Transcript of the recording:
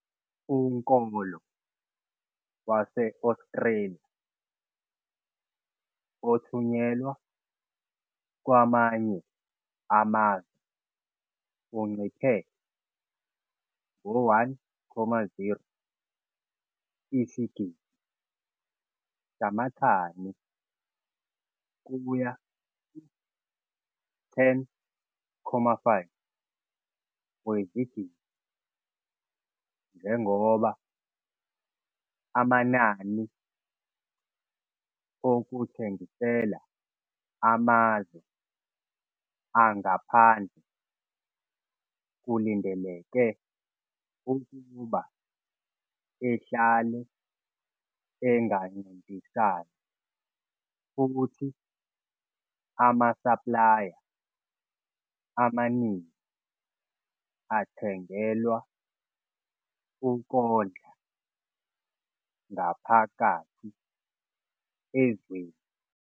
Unkolo wase-Australia othunyelwa kwamanye amazwe unciphe ngo-1,0 isigidi samathani kuya ku-10,5 wezigidi njengoba amanani okuthengisela amazwe angaphandle kulindeleke ukuba ehlale engancintisani futhi amasaplaya amaningi athengelwa ukondla ngaphakathi ezweni.